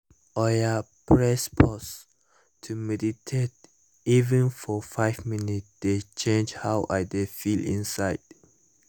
oya press pause — to meditate even for five minutes dey change how i dey feel inside